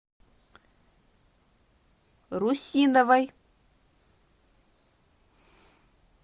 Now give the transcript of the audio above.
русиновой